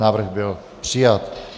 Návrh byl přijat.